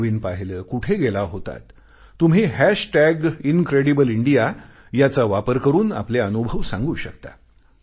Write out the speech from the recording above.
काय नवीन पाहिले कुठे गेला होतात तुम्ही हॅश टॅग इनक्रेडिबल इंडिया याचा वापर करून आपले अनुभव सांगू शकता